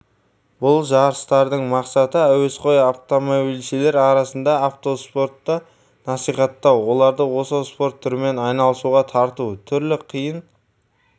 бұл жарыстардың мақсаты әуесқой автомобильшілер арасында автоспортты насихаттау оларды осы спорт түрімен айналысуға тарту түрлі қиын